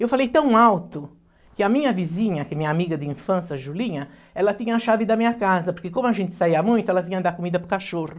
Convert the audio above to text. Eu falei tão alto que a minha vizinha, que é minha amiga de infância, Julinha, ela tinha a chave da minha casa, porque como a gente saía muito, ela vinha dar comida para o cachorro.